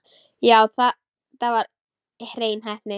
Já, þetta var hrein heppni.